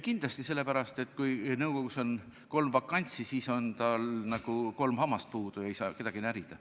Kindlasti, sest kui nõukogus on kolm vakantsi, siis on tal nagu kolm hammast puudu ja ta ei saa kedagi närida.